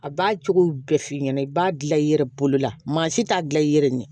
A b'a cogo bɛɛ f'i ɲɛna i b'a gilan i yɛrɛ bolola maa si t'a dilan i yɛrɛ ɲɛ